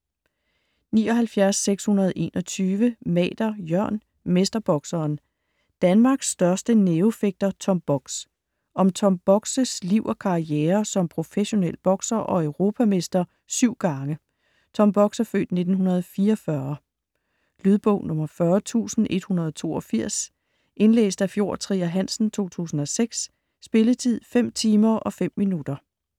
79.621 Mader, Jørn: Mesterbokseren: Danmarks største nævefægter Tom Bogs Om Tom Bogs' (f. 1944) liv og karriere som professionel bokser og europamester 7 gange. Lydbog 40182 Indlæst af Fjord Trier Hansen, 2006. Spilletid: 5 timer, 5 minutter.